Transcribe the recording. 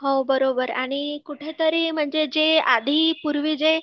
हो बरोबर आणि कुठं तरी म्हणजे आधी पूर्वी जे